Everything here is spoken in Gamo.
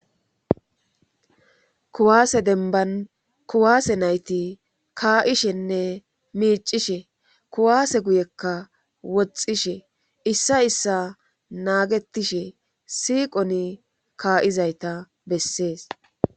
kuwaase denban kuwaase nayti kaa7ishenne miicishe kuwaase guyekka woxxishe issa issa naagetishe siiqoni kaa7izayta bessees